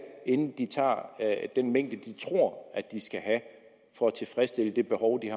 er inden de tager den mængde de tror de skal have for at tilfredsstille det behov de